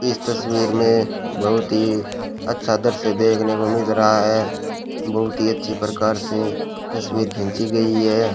इस तस्वीर में बहुत ही अच्छा दृश्य देखने को मिल रहा है बहुत ही अच्छी प्रकार से तस्वीर खींची गई है।